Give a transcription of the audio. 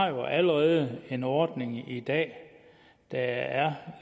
jo allerede har en ordning i dag der er